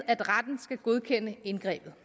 at retten skal godkende indgrebet